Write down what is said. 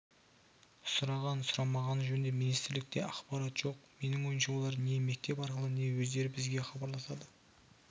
сұраған-сұрамағаны жөнінде министрлікте ақпарат жоқ менің ойымша олар не мектеп арқылы не өздері бізге хабарласады